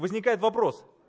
возникает вопрос